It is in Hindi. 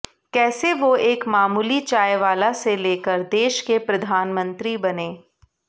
कैसे वो एक मामूली चायवाला से लेकर देश के प्रधानमंत्री बने